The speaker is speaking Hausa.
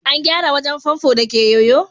an gyara wajen famfo da ke yoyo?